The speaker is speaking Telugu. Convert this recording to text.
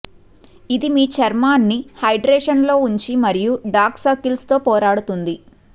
ఇది మీ చర్మాన్ని హైడ్రేషన్ లో ఉంచి మరియు డార్క్ సర్కిల్స్ తో పోరాడుతుంది